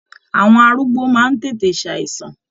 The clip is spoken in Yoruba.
Àwọn arúgbó máa n tètè ṣàìsàn.